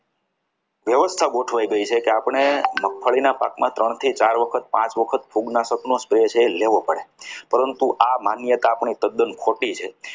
વ્યવસ્થા ગોઠવાઈ જાય છે કે આપણે મગફળીના પાકની અંદર ત્રણ થી ચાર વખત પાંચ વખત ફૂગનાશક નો પાક છે એ લેવો પડે પરંતુ આ માન્યતા આપણી તદ્દન ખોટી છે.